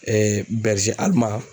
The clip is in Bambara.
Ɛɛ bɛrize aliman